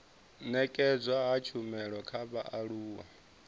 nekedzwa ha tshumelo kha vhaaluwa